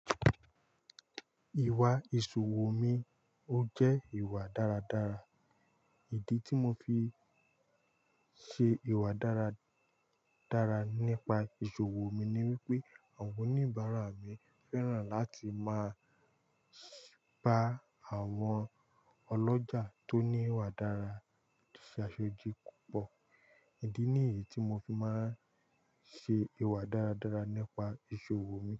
Ìwà ìṣòwò mi ó jẹ́ ìwà dáradára. Ìdí tí mo fi ń ṣe ìwà dára-dára nípa ìṣòwò mi ni wípé àwọn oníbàárà mi fẹ́ràn láti máa bá àwọn ọlọ́jà tó ní ìwà dára ṣe aṣojú púpọ̀. Ìdí nìyí tí mo fi máa ń ṣe ìwà dáradára nípa ìṣòwò mi.